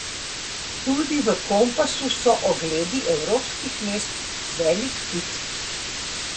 Tudi v Kompasu so ogledi evropskih mest velik hit.